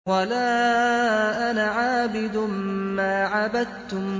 وَلَا أَنَا عَابِدٌ مَّا عَبَدتُّمْ